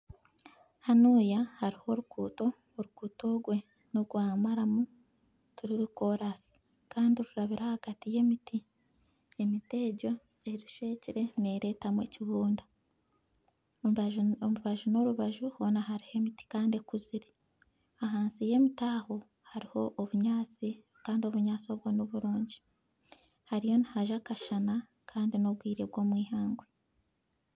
Hanuya hariho oruguuto, oruguuto orwe n'orwa maramu tiruri koraasi, kandi rurabire ahagati y'emiti, emiti egyo erushwekire neeretamu ekibunda. Omu mbaju, orubaju n'orubaju hoona hariho emiti kandi ekuzire. Ahansi y'emiti aho hoona hariho obunyaasi, kandi obunyaasi obwo niburungi. Hariyo nihajwa akashana kandi n'obwire bw'omu ihangwe.